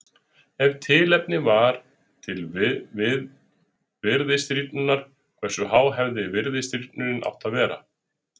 Ef tilefni var til virðisrýrnunar hversu há hefði virðisrýrnunin átt að vera?